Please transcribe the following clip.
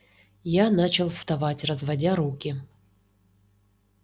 я начал вставать разводя руки